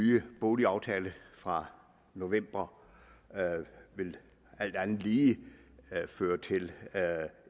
nye boligaftale fra november alt andet lige vil føre til